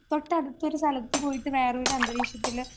തൊട്ടടുത്തോരു സ്ഥലത്ത് പോയിട്ട് വേറൊരുന്തരീക്ഷത്തില്